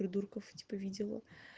придурков типа видела